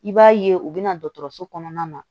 I b'a ye u bɛna dɔgɔtɔrɔso kɔnɔna na